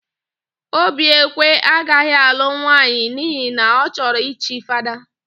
Obiekwe agaghị alụ nwaanyị n'ihi na ọ chọrọ ichi Fada.